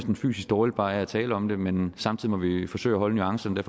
fysisk dårligt ved bare at tale om det men samtidig må vi forsøge at holde nuancerne